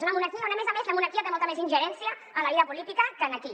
és una monarquia on a més a més la monarquia té molta més ingerència en la vida política que aquí